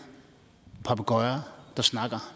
og papegøjer der snakker